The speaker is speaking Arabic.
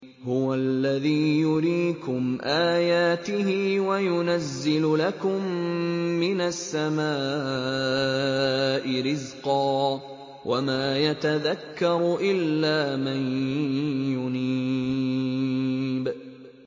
هُوَ الَّذِي يُرِيكُمْ آيَاتِهِ وَيُنَزِّلُ لَكُم مِّنَ السَّمَاءِ رِزْقًا ۚ وَمَا يَتَذَكَّرُ إِلَّا مَن يُنِيبُ